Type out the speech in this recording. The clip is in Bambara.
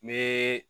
N bɛ